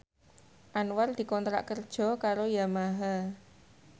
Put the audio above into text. Anwar dikontrak kerja karo Yamaha